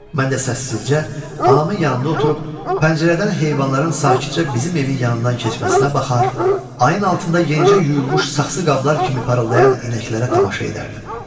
Mən də səssizcə anamın yanında oturub pəncərədən heyvanların sakitcə bizim evin yanından keçməsinə baxar, ayın altında yenicə yuyulmuş saxsı qablar kimi parıldayan inəklərə tamaşa edərdim.